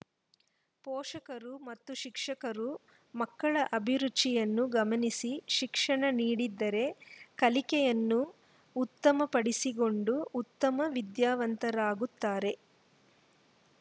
ಪೋಷಕರು ಮತ್ತು ಶಿಕ್ಷಕರು ಮಕ್ಕಳ ಅಭಿರುಚಿಯನ್ನು ಗಮನಿಸಿ ಶಿಕ್ಷಣ ನೀಡಿದರೆ ಕಲಿಕೆಯನ್ನ ಉತ್ತಮಪಡಿಸಿಗೊಂಡು ಉತ್ತಮ ವಿದ್ಯಾವಂತರಾಗುತ್ತಾರೆ